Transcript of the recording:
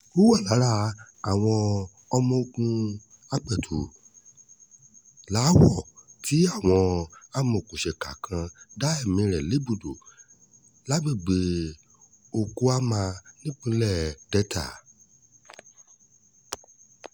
ó wà lára àwọn ọmọọ̀gùn apètúláwọ̀ tí àwọn amòòkùnsíkà kan dá ẹ̀mí rẹ̀ légbodò lágbègbè òkúámà nípínlẹ̀ delta